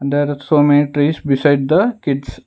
There are so many trees beside the kids.